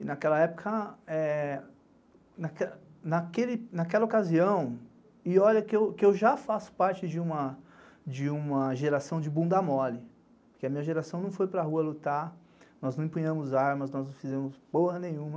E naquela época, naquela ocasião, e olha que eu já faço parte de uma geração de bunda mole, porque a minha geração não foi para rua lutar, nós não empunhamos armas, nós não fizemos porra nenhuma.